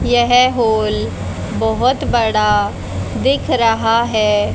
यह हॉल बहोत बड़ा दिख रहा है।